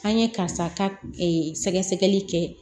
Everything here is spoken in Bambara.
An ye karisa ka sɛgɛsɛgɛli kɛ